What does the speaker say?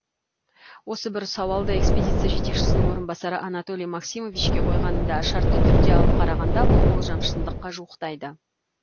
осы бір сауалды экспедиция жетекшісінің орынбасары анатолий максимовичке қойғанымда шартты түрде алып қарағанда бұл болжам шындыққа жуықтайды